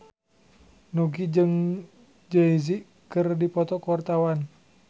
Nugie jeung Jay Z keur dipoto ku wartawan